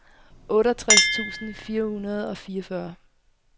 otteogtres tusind fire hundrede og fireogfyrre